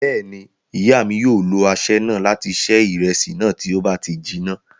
Bẹ́ẹ̀ ni, ìyá mi yóò lo aṣẹ́ náà láti ṣe ìrẹsì náà, tí ó bá ti jiná.